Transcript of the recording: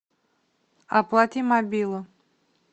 оплати мобилу